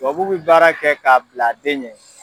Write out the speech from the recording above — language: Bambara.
Tubabu bɛ baara kɛ k'a bil'a den ɲɛ.